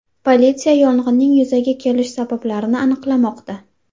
Politsiya yong‘inning yuzaga kelish sabablarini aniqlamoqda.